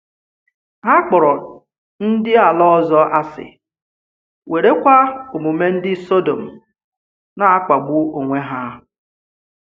Hà kpọ̀rọ ndị àlà ọzọ asị, wéré kwa omume ndị Sọdọm na-akpàgbu onwé hà.